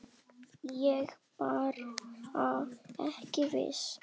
Ég er bara ekki viss.